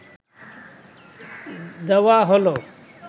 দেওয়া হল